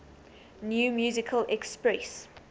new musical express